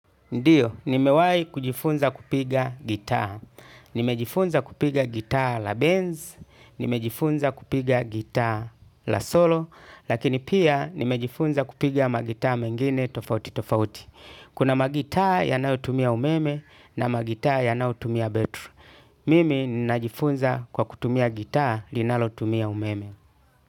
Ndiyo, nimewai kujifunza kupiga gitaa. Nimejifunza kupiga gitaa la base nimejifunza kupiga gitaa la solo, lakini pia nimejifunza kupiga magitaa mengine tofauti tofauti. Kuna magitaa yanayo tumia umeme na magitaa yanayo tumia betru. Mimi ninajifunza kwa kutumia gitaa linalotumia umeme.